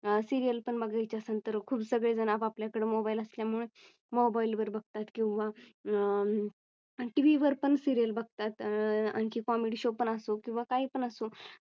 अह सिरियल पण बघायची असेल खूप सगळे जण आपल्याकडे मोबाईल असल्यामुळे मोबाईल वर बघतात किंवा अं टीव्ही वर पण सिरियल बघतात. अह आणखी Comedy show पण असो किंवा काही पण असो